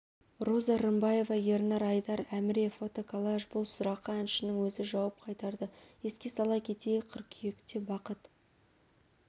роза рымбаева ернар айдар әміре фото-коллаж бұл сұраққа әншінің өзі жауап қайтарды еске сала кетейік қыркүйектебақыт